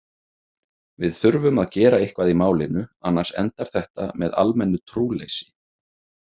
Við þurfum að gera eitthvað í málinu annars endar þetta með almennu trúleysi.